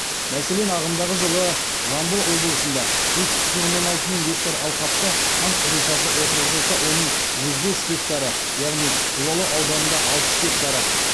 мәселен ағымдағы жылы жамбыл облысында бес бүтін оннан алты мың гектар алқапты қант қызылшасы отырғызылса оның жүз бес гектары яғни жуалы ауданында алпыс гектар